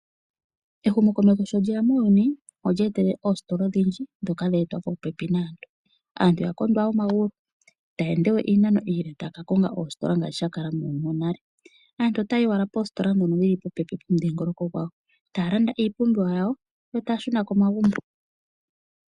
Ehumo komeho sho lyeya muuyuni olya etele oositola odhindji dhoka dha etwa popepi naantu. Aantu yakondwa wo omagulu itaya ende we iinano iile taya kakonga oositila ngaashi sha kala muuyuni wonale. Aantu ota yayi owala poositola dhono dhili popepi nomudhingoloko gwawo, taya landa iipumbiwa yawo yo taya shuna komagumbo.